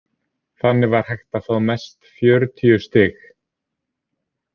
Þannig var hægt að fá mest fjörutíu stig.